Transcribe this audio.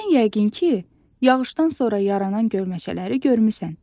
Sən yəqin ki, yağışdan sonra yaranan gölməçələri görmüsən.